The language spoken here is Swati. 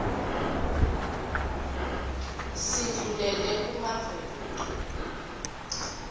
sindlulele kumave kuto